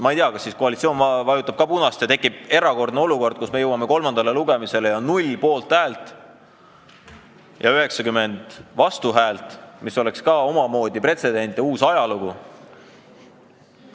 Ma ei tea, kas koalitsioon vajutab ka punast ja tekib erakordne olukord, kus me jõuame kolmandale lugemisele ja on 0 poolthäält ja 90 vastuhäält, mis oleks omamoodi pretsedent ja ajalooline sündmus.